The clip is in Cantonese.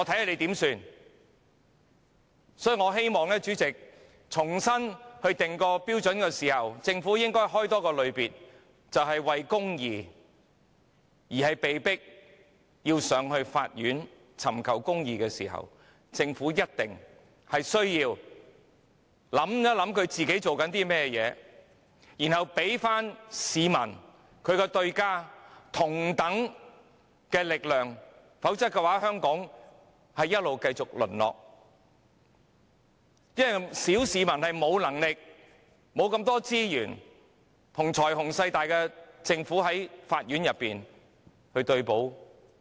所以，主席，我希望政府在重新訂立標準時，應增設一個類別，就是市民為公義而被迫上法院尋求公義的時候，政府必須考慮自己正在做甚麼，然後給其對手——即市民——同等力量，否則香港會不斷淪落，因為小市民沒有能力和資源，與財雄勢大的政府對簿公堂。